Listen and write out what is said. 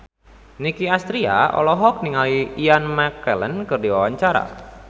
Nicky Astria olohok ningali Ian McKellen keur diwawancara